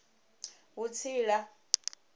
vhutsila